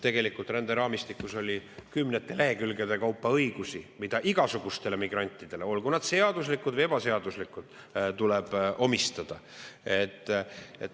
Tegelikult ränderaamistikus on kümnete lehekülgede kaupa õigusi, mis igasugustele migrantidele, olgu nad seaduslikud või ebaseaduslikud, tuleb.